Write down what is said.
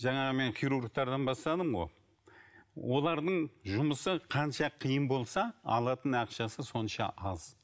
жаңағы мен хирургтерден бастадым ғой олардың жұмысы қанша қиын болса алатын ақшасы сонша аз